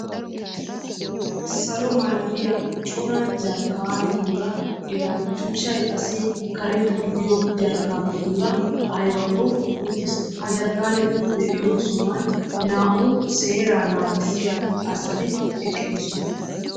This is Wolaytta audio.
Salo malatiya cora jarkkaanetuura eta tuchchay qassi karetta gidiyo jarkkaanetuura aybakko uttiis. Ha jarkkaaneti de'iyo sohuwan naa"u seeraa naagissiya asati eqqidosona.